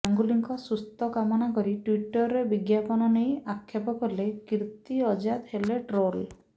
ଗାଙ୍ଗୁଲିଙ୍କ ସୁସ୍ଥ କାମନା କରି ଟ୍ୱିଟରେ ବିଜ୍ଞାପନ ନେଇ ଆକ୍ଷେପ କଲେ କୀର୍ତ୍ତି ଆଜାଦ ହେଲେ ଟ୍ରୋଲ୍